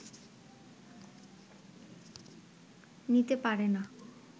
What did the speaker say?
নিতে পারে না